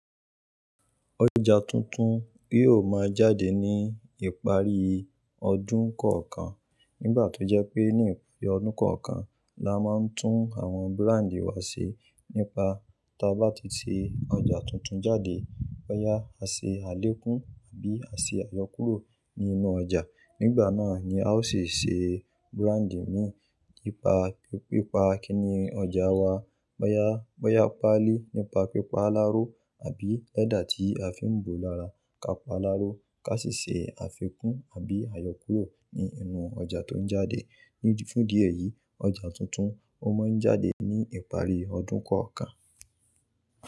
Ọjà tuntun yóò máa jáde ní ìparí ọdún kọ̀ọ̀kan. Nígbà tó jẹ́ pé ní ìparí ọdún kọ̀ọ̀kan la máa ń tún àwọn brand wa ṣe nípa ta bá ti ṣe ọjà tuntun jáde, bóyá a ṣe àlékún àbí à ṣe àyọkúrò ní inú ọjà. Nígbà náà ni a ó sì ṣe branding mí nípa pípa kíni ọjà wa. Bóyá, bóyá pali nípa pípa láró àbí lẹ́dà tí a fi ń bo lára ká pa á láró ká sì ṣe àfikún àbí àyọkúrò ní inú ọjà tó ń jáde. Ní, fún idi eyì, ọjà tuntun ó máa ń jáde ní ìparí ọdún kọ̀ọ̀kan.